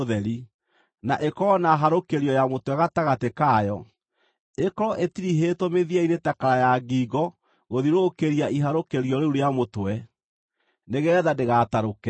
na ĩkorwo na harũkĩrio ya mũtwe gatagatĩ kayo. Ĩkorwo ĩtirihĩtwo mĩthia-inĩ ta kara ya ngingo gũthiũrũrũkĩria iharũkĩrio rĩu rĩa mũtwe, nĩgeetha ndĩgatarũke.